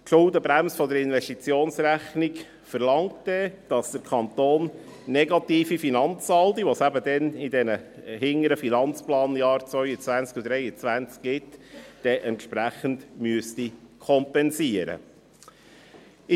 Die Schuldenbremse der Investitionsrechnung verlangt, dass der Kanton negative Finanzsaldi, die es in den hinteren Finanzplanjahren 2022–2023 gibt, entsprechend kompensieren muss.